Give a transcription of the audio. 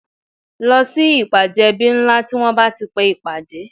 Lọ sí ìpàdé ẹbí ńlá tí wọn bá ti pe ìpàdé